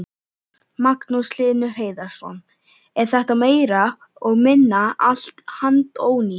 Magnús Hlynur Hreiðarsson: Er þetta meira og minna allt handónýtt?